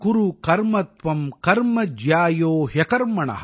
நியதம் குரு கர்மத்வம் கர்ம ஜ்யாயோ ஹ்யகர்மண